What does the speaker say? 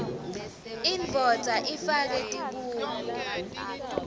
indvodza ifake tibuko